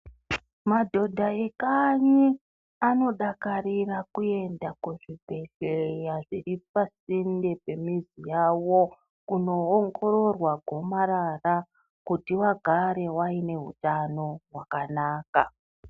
Madhodha e kanyi anodakarira kuenda ku zvibhedhleya zviri pa sinde pe mizi yawo kuno ongororwa gomarara kuti vagare vaine utano hwakanaka.